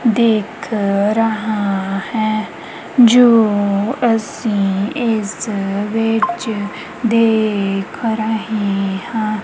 ਦਿਖ ਰਹਾ ਹੈ ਜੋ ਅਸੀਂ ਇਸ ਵਿੱਚ ਦੇਖ ਰਹੇ ਹਾਂ।